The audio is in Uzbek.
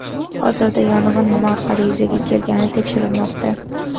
Hozirda yong‘in nima orqali yuzaga kelgani tekshirilmoqda.